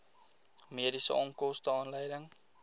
mediese onkoste aanleiding